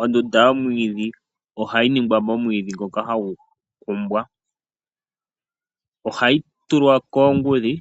Ondunda yomwiidhi ohayi ningwa momwiidhi ngoka hagu kumbwa. Ohayi tulwa koongudhi